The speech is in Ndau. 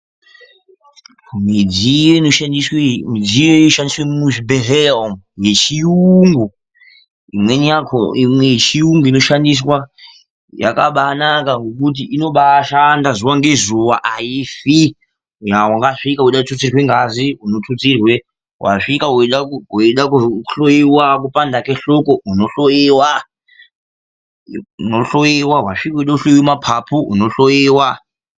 Midziyo inoshandiswe muzvibhehlera umwu yechiyungu, imwe yechiyungu inoshandiswa yakabaanaka ngekuti inobaashanda zuwa ngezuwa aifi. Wasvika weide kututsirwe ngazi, unotutsirwa, wasvika weide kuhloiwa kupanda kwehloko unohloiwa, unohloiwa, wasvika weide kuhloiwa mapapu unohloiwa.